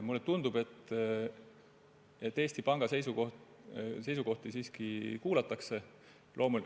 Mulle tundub, et Eesti Panga seisukohti siiski kuulatakse.